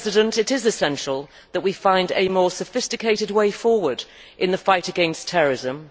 It is essential that we find a more sophisticated way forward in the fight against terrorism.